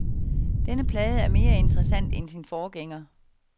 Denne plade er mere interessant end sin forgænger.